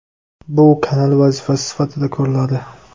Bu kanal vazifasi sifatida ko‘riladi.